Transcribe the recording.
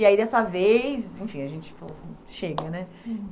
E aí, dessa vez, enfim, a gente falou, chega, né?